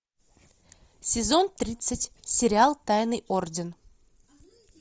сезон тридцать сериал тайный орден